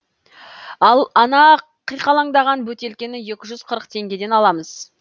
ал ана қиқалаңдаған бөтелкені екі жүз қырық теңгеден аламыз